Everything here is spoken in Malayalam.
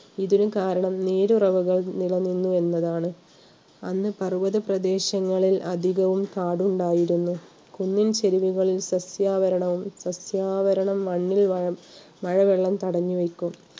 ഇതിനു കാരണം നീരുറവകൾ നിലനിർന്നു എന്നതാണ്. അന്ന് പർവത പ്രദേശങ്ങളിൽ അധികവും കാട് ഉണ്ടായിരുന്നു. കുന്നിൻ ചെരുവുകളിൽ സസ്യാവരണവും സസ്യാവരണം മണ്ണിൽ മഴ വെള്ളം തടഞ്ഞു വെക്കും